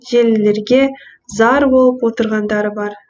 желілерге зар болып отырғандары бар